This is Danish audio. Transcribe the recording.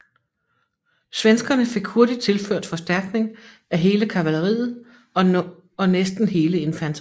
Svenskerne fik hurtigt tilført forstærkning af hele kavalleriet og nåsten hele infanteriet